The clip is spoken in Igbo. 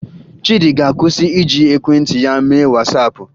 Chiịdị ga-akwụsị iji ekwentị ya mee Wasaapụ